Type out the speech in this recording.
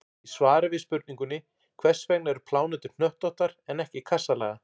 Í svari við spurningunni Hvers vegna eru plánetur hnöttóttar en ekki kassalaga?